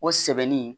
O sɛbɛnni